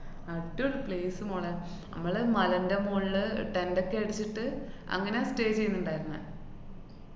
അടിപൊളി place മോളേ. നമ്മള് മലേന്‍റെ മോളില് അഹ് tent ഒക്കെ അടിച്ചിട്ട് അങ്ങനെ stay ചെയ്യുന്നുണ്ടാരുന്നെ.